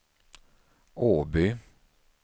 Åby